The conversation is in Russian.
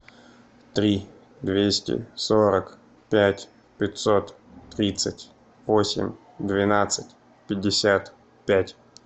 три двести сорок пять пятьсот тридцать восемь двенадцать пятьдесят пять